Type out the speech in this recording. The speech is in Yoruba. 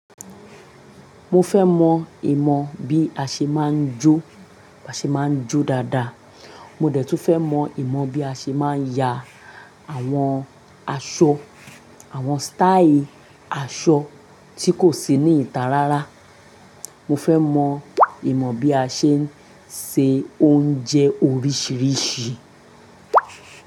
Mo fẹ́ mọ ìmọ̀ bí a ṣe máa ń jó, bá ṣe máa ń jó dáadáa. Mo dẹ̀ tún fẹ́ mọ ìmọ̀ bí a ṣe máa ń ya àwọn aṣọ, àwọn sítáìì aṣọ tí kò sí ní ìta rárá. Mo fẹ́ mọ ìmọ̀ bí a ṣe ń se oúnjẹ oríṣìíríṣìí.